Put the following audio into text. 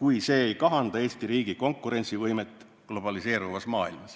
"kui see ei kahanda Eesti riigi konkurentsivõimet globaliseeruvas maailmas".